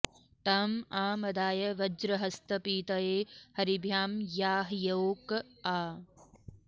ताँ आ मदा॑य वज्रहस्त पी॒तये॒ हरि॑भ्यां या॒ह्योक॒ आ